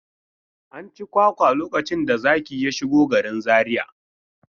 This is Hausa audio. An ci kwakwa lokacin da zaki ya shigo garin Zariya.